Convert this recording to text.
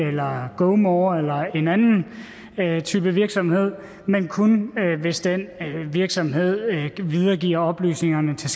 eller gomore eller en anden type virksomhed men kun hvis den virksomhed videregiver oplysningerne til